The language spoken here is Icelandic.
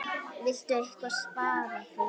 Viltu eitthvað svara því?